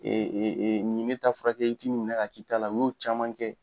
Ee nin ye ne taa furakɛ i b'i ta o minɛ ka k'i ta la. U y'o caman kɛ.